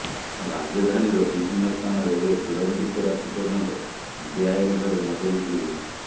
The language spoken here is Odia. ରାଜଧାନୀର ବିଭିନ୍ନ ସ୍ଥାନରେ ଏବେ ବିଳମ୍ବିତ ରାତି ପର୍ଯ୍ୟନ୍ତ ବେଆଇନ ଭାବେ ମଦ ବିକ୍ରି ହେଉଛି